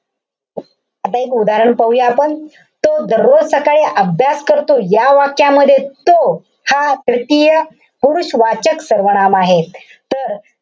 आता एक उदाहरण पाहूया आपण. तो दररोज सकाळी अभ्यास करतो. या वाक्यामध्ये तो, हा तृतीय पुरुषवाचक सर्वनाम आहे. तर,